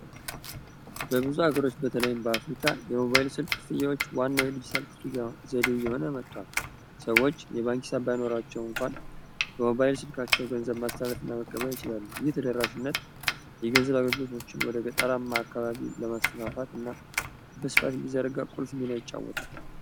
በብዙ አገሮች በተለይም በአፍሪካ የሞባይል ስልክ ክፍያዎች መጥቷል ስልካቸው ገንዘብ ማስታወት ለመቀበል ይችላሉ እየተደራሽነት የገንዘብ አገልግሎቶችን ወደ ገጠር ማዕከላዊ ለማስተካከት እና ይጫወታል